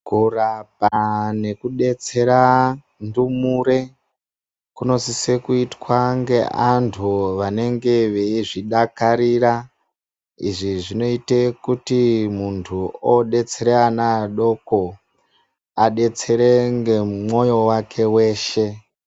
Kurapa nekudetsera ndumure kunosiso kuitwa neantu anenge achizvi dakarira izvizvi zvinoitwe kuti muntu odetsere ana adoko adetsere ngemoyo wake weshe.